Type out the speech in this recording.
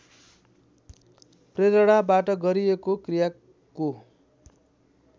प्रेरणाबाट गरिएको क्रियाको